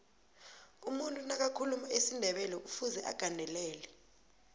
umuntu nakathuluma isindebelekufuze agandelele